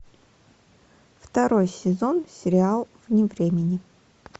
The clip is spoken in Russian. второй сезон сериал вне времени